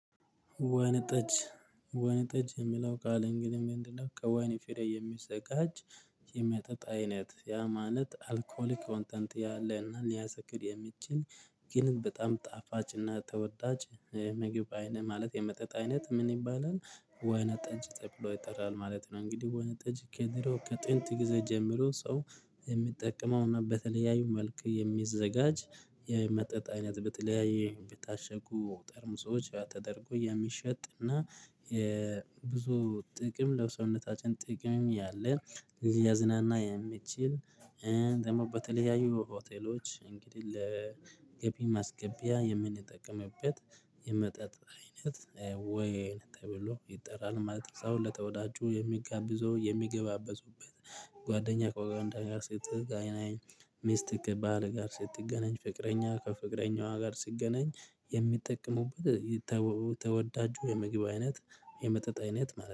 ወይን ጠጅ ወይን ጠጅ የምለው ቃል እንግዲህ ምንድነው? ከወይን ፍሬ የሚዘጋጅ የሚያጠጣ አይነት ያ ማለት አልኮል ኮንተንት ያለና እኔ ያሰክር የሚችል። ግን በጣም ጣፋጭና ተወዳጅ ምግብ አይነት ማለት የመጠጥ አይነት ምን ይባላል ወይነ ጠጅ ጠብሎ ይጠራል ማለት ነው። እንግዲህ ወይንም ጠጅ ከድሮ ከጥንት ጊዜ ጀምሮ ሰው የሚጠቀመውና በተለያዩ መልክ የሚዘጋጅ የመጠጥ አይነት በተለያየ በታሸጉ ጠርሙሶች ተደርጎ የሚሸጥና የብዙ ጥቅም ለሰውነታችን ጥቅም ያለ ሊያዝናና የሚችል። ደግሞ በተለያዩ ሆቴሎች እንግዲህ ለገቢ ማስገቢያ የምንጠቀምበት የመጠጥ አይነት ወይን ተብሎ ይጠራል ማለት ነው። ሰው ለተወዳጁ የሚጋብዘው የሚገባበዙበት ጓደኛ ከጓደኛ ጋር ስትገናኝ ሚስትግ ባል ጋር ስትገናኝ ፍቅረኛ ከፍቅረኛዋ ጋር ስትገናኝ የሚጠቀሙበት። ተወዳጁ የምግብ አይነት የመጠጥ አይነት ማለት ነው